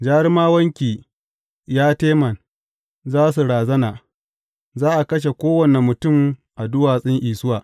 Jarumawanki, ya Teman, za su razana, za a kashe kowane mutum a duwatsun Isuwa.